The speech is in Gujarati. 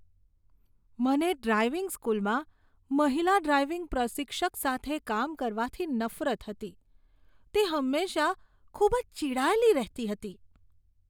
મને ડ્રાઈવિંગ સ્કૂલમાં મહિલા ડ્રાઈવિંગ પ્રશિક્ષક સાથે કામ કરવાથી નફરત હતી. તે હંમેશા ખૂબ જ ચીડાયેલી રહેતી હતી.